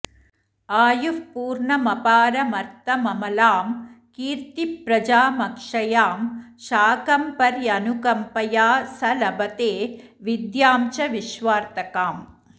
आयुःपूर्णमपारमर्थममलां कीर्ति प्रजामक्षयां शाकम्भर्यनुकम्पया स लभते विद्यां च विश्वार्थकाम्